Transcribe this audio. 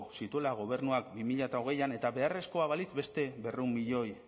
zituela gobernuak bi mila hogeian et beharrezkoa balitz beste berrehun milioi